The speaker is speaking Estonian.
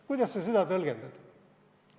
Kuidas sa seda tõlgendad?